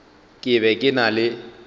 ke be ke na le